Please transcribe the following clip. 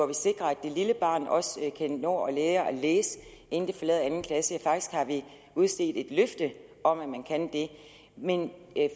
vi sikrer at det lille barn også kan nå at lære at læse inden det forlader anden klasse faktisk har vi udstedt et løfte om at man kan det men